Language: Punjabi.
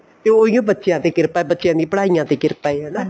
ਤੇ ਉਹੀ ਓ ਬੱਚਿਆਂ ਤੇ ਕਿਰਪਾ ਬੱਚਿਆਂ ਦੀ ਪੜ੍ਹਾਈਆਂ ਤੇ ਕਿਰਪਾ ਏ ਹਨਾ